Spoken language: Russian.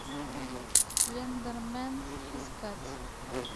слендермен искать